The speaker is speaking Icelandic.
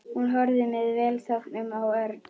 Hún horfði með velþóknun á Örn.